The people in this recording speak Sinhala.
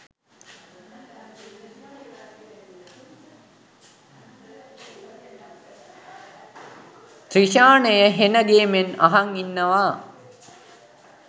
ත්‍රිෂානය හෙන ගේමෙන් අහන් ඉන්නවා